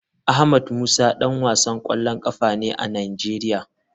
Ahmed musa dan wasan kwallon kafa ne a nigeria.